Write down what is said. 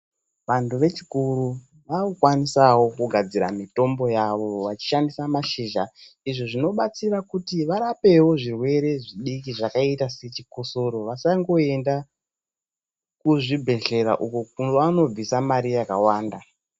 Vantu vechikuru vakukwanisawo kugadzira mitombo yavo vachishandisa mashizha. Izvi zvinobatsira kuti varapewo zvirwere zvidiki zvakaita sechikosoro, vasangoenda kuzvibhedhlera uko kwavanobvisa mari yakawanda.